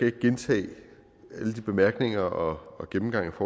ikke gentage alle de bemærkninger og gennemgange af